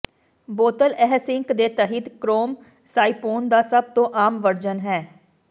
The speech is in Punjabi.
ਬੋਤਲ ਇਹ ਸਿੰਕ ਦੇ ਤਹਿਤ ਕਰੋਮ ਸਾਈਪੋਨ ਦਾ ਸਭ ਤੋਂ ਆਮ ਵਰਜਨ ਹੈ